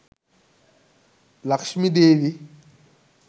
lakshmi devi